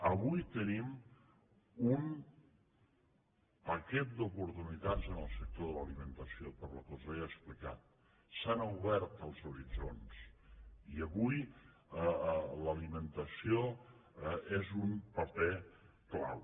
avui tenim un paquet d’oportunitats en el sector de l’alimentació pel que us he explicat s’han obert els horitzons i avui l’alimentació és un paper clau